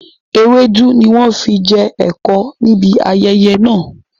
Ewédú ni wọn fi jẹ ẹ̀kọ níbi ayẹyẹ náà